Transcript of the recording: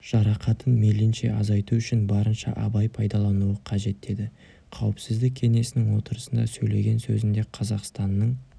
жарақатын мейлінше азайту үшін барынша абай пайдалануы қажет деді қауіпсіздік кеңесінің отырысында сөйлеген сөзінде қазақстанның